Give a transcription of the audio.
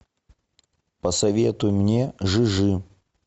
посоветуй мне жижи